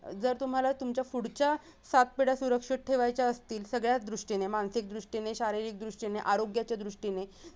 जर तुम्हाला तुमच्या पुढच्या सात पिढ्या सुरक्षित ठेवायच्या असतील सगळ्याच दृष्टीने मानसिक दृष्टीने, शारीरिक दृश्टिने, आरोग्याच्या दृष्टीने